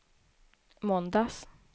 måndags